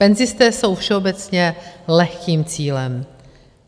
Penzisté jsou všeobecně lehkým cílem.